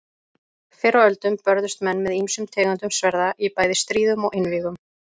Fyrr á öldum börðust menn með ýmsum tegundum sverða í bæði stríðum og einvígum.